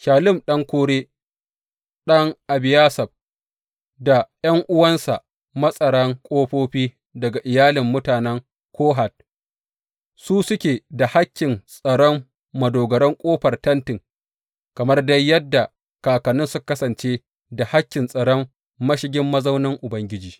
Shallum ɗan Kore, ɗan Ebiyasaf, ɗan Kora, da ’yan’uwansa matsaran ƙofofi daga iyalin mutanen Kohat su suke da hakkin tsaron madogaran ƙofar Tenti kamar dai yadda kakanninsu suka kasance da hakkin tsaron mashigin mazaunin Ubangiji.